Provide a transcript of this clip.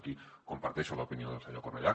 aquí comparteixo l’opinió del senyor cornellà